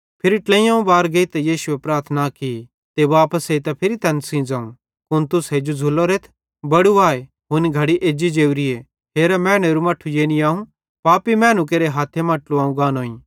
फिरी ट्लेइयोवं बार गेइतां यीशुए प्रार्थना की ते वापस एइतां फिरी तैन सेइं ज़ोवं कुन तुस हेजू झ़ुल्लोरेथ बड़ू आए हुनी घड़ी एज्जी जोरी हेरा मैनेरू मट्ठू यानी अवं पापी मैनू केरे हथ्थन मां ट्लुवेइयोव गानोईं